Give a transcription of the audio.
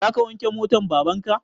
Za ka wanke motan baban ka?